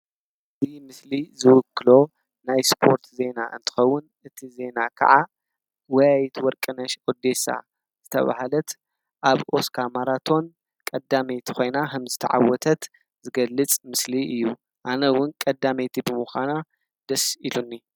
እዚ ምስሊ ዝዉክሎ ናይ ስፖርት ዜና እንትኸዉን እቲ ዜና ከኣ ጎያይት ወርቅነሽ ኢዴሳ ዝተብሃለት ኣብ ኦስካ ማራቶን ቀዳመይቲ ኾይና ኸም ዝተዓወተት ዝገልጽ ምስሊ እዩ። ኣነ ዉን ቀዳመይቲ ብምኳና ደስ ኢሉኒ።